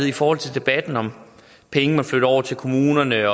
i forhold til debatten om penge man flytter over til kommunerne